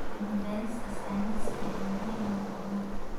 Cilmi-baarista sayniska ayaa muhiim u ah horumarka.